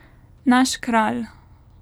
Naš kralj.